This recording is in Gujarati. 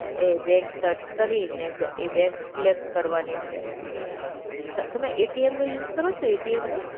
એ બેંક સર્ચ કરીને એ બેંક સિલેક્ટ કરવાની છે. તમે એટીએમ નો યુઝ કરો છો એટીએમ નો?